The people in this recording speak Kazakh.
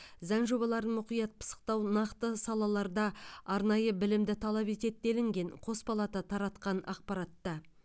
заң жобаларын мұқият пысықтау нақты салаларда арнайы білімді талап етеді делінген қос палата таратқан ақпаратта